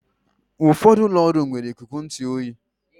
Ụfọdụ ụlọ ọrụ nwere ikuku ntụ oyi